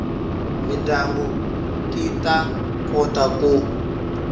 mindyangu ti ta kota ku